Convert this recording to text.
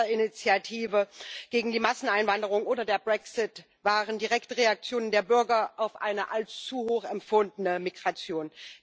Die Schweizer Initiative gegen die Masseneinwanderung oder der Brexit waren direkte Reaktionen der Bürger auf eine als zu hoch empfundene Migration.